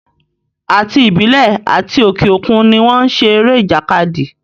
Àti ìbílẹ̀ àti òke òkun ni wọ́n n ṣe eré ìjàkadì